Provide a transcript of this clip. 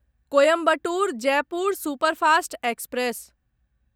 Coimbatore Jaipur superfast express